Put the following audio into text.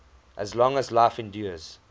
as long as life endures